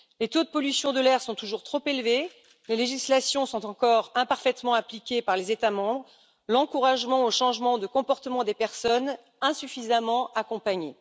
Les taux de pollution de l'air sont toujours trop élevés, les législations sont encore imparfaitement appliquées par les États membres, l'encouragement au changement de comportement des personnes, insuffisamment accompagné.